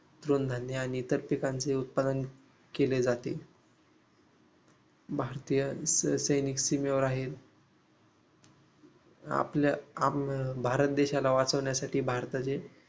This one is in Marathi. तृणधान्य आणि इतर पिकांचे उत्पादन केले जाते. भारतीय सैनिक सीमेवर आहेत आपल्या भारत देशाला वाचवण्यासाठी भारताचे